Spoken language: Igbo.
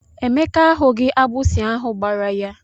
Emeka ahughi agbụsị ahụ gbara ya.